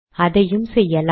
அதையும் செய்யலாம்